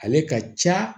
Ale ka ca